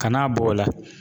Kana bɔ o la.